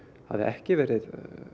hafi ekki verið